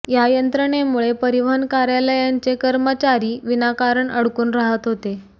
या यंत्रणेमुळे परिवहन कार्यालयांचे कर्मचारी विनाकारण अडकून राहत होते